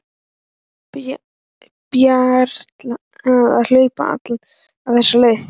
Brjálæði að hlaupa alla þessa leið.